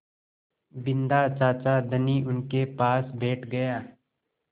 बिन्दा चाचा धनी उनके पास बैठ गया